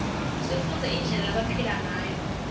sifundze indlela lebabephila nguyo